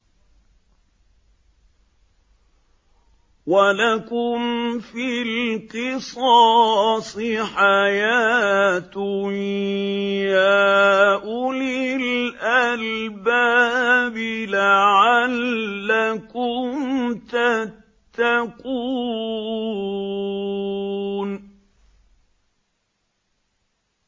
وَلَكُمْ فِي الْقِصَاصِ حَيَاةٌ يَا أُولِي الْأَلْبَابِ لَعَلَّكُمْ تَتَّقُونَ